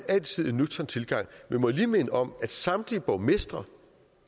altid en nøgtern tilgang men må jeg lige minde om at samtlige borgmestre